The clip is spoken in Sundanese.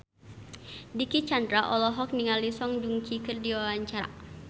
Dicky Chandra olohok ningali Song Joong Ki keur diwawancara